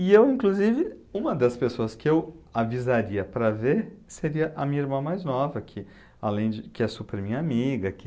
E eu, inclusive, uma das pessoas que eu avisaria para ver seria a minha irmã mais nova, que além de, que é super minha amiga, que...